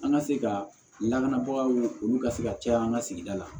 An ka se ka lakanabagaw olu ka se ka caya an ka sigida la